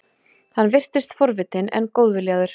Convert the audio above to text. Hann virtist forvitinn, en góðviljaður.